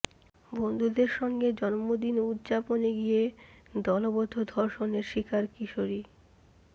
বন্ধুদের সঙ্গে জন্মদিন উদ্যাপনে গিয়ে দলবদ্ধ ধর্ষণের শিকার কিশোরী